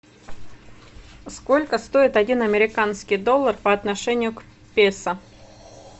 сколько стоит один американский доллар по отношению к песо